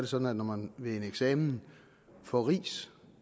sådan at når man ved en eksamen får ris